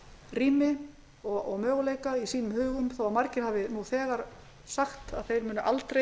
rými og möguleika í huga sínum þó að margir hafi nú þegar sagt að þeir munu aldrei